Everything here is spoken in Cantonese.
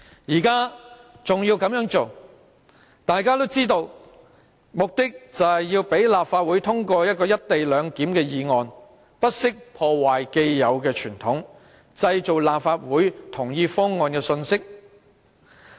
現在這樣做，大家都知道其目的就是要讓立法會通過"一地兩檢"的議案，不惜破壞既有的傳統，製造立法會同意方案的信息。